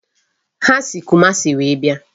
Ha si Kumasi wee bịa.